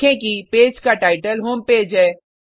देखें कि पेज का टाइटल होम पेज है